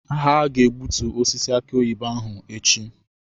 Ha ga-egbutu osisi aki oyibo ahụ echi.